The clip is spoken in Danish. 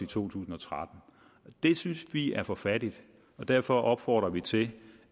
tusind og tretten det synes vi er for fattigt derfor opfordrer vi til